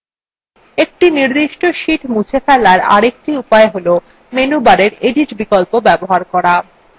একটি নির্দিষ্ট sheet মুছে ফেলার আরেকটি উপায় হল menu bar edit বিকল্প bar করা